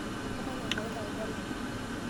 kemanya enkai iltauja lang